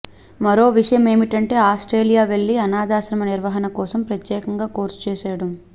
మరో విశేషమేమంటే ఆ్రస్టేలియా వెళ్లి అనాథాశ్రమ నిర్వహణ కోసం ప్రత్యేకంగా కోర్సు చేయడం